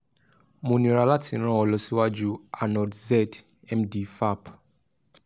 mo níra lati ran ọ́ lọ siwaju arnold zedd md faap